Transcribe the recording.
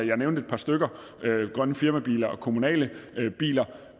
jeg nævnte et par stykker grønne firmabiler og kommunale biler